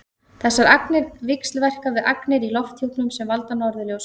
þessar agnir víxlverka við agnir í lofthjúpnum sem valda norðurljósum